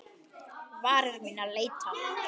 Varir mínar leita.